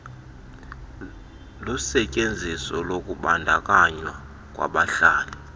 lusetyenziso lokubandakanywa kwabahlali